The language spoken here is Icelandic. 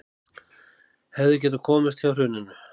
Hefðu getað komist hjá hruninu